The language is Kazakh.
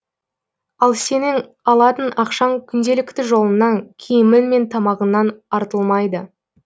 ал сенің алатын ақшаң күнделікті жолыңнан киімің мен тамағыңнан артылмайды